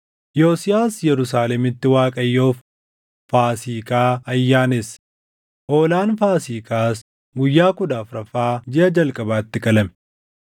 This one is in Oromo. Yosiyaas Yerusaalemitti Waaqayyoof Faasiikaa ayyaanesse; hoolaan Faasiikaas guyyaa kudha afuraffaa jiʼa jalqabaatti qalame.